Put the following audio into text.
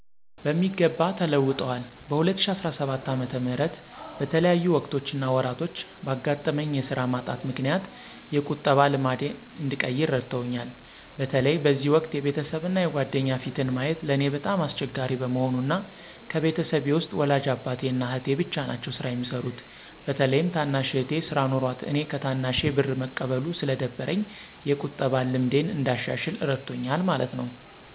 በሚገባ ተለውጠዋል። በ2017 ዓ/ም በተለያዩ ወቅቶች እና ወራቶች ባጋጠመኝ የስራ ማጣት ምክንያት የቁጠባ ልማዴን እንድቀይር እረድቶኛል። በተለይ በዚህ ወቅት የቤተሰብ እና የጓደኛ ፊትን ማየት ለእኔ በጣም አስቸጋሪ በመሆኑ እና ከቤተሰቤ ውስጥ ወላጅ አባቴ እና አህቴ ብቻ ናቸው ስራ የሚሰሩት። በተለይም ታናሽ እህቴ ስራ ኖሯት እኔ ከታናሼ ብር መቀበሉ ስለደበረኝ የቁጠባን ልምዴን እንዳሻሽል እረድቶኛል ማለት ነው።